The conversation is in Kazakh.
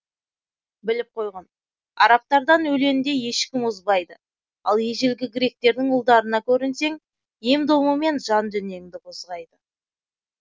біліп қойғын арабтардан өленде ешкім озбайды ал ежелгі гректердің ұлдарына көрінсең емдомымен жан дүниеңді козғайды